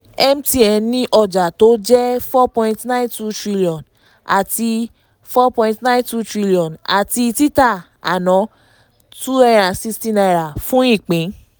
mtn ní ọjà tó jẹ́ n4.92trn àti n4.92trn àti títà àná n260 fún ìpín.